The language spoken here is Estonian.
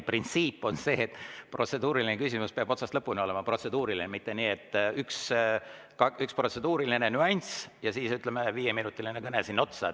Printsiip on ikkagi see, et protseduuriline küsimus peab otsast lõpuni olema protseduuriline, mitte nii, et on üks protseduuriline nüanss ja siis, ütleme, viieminutiline kõne sinna otsa.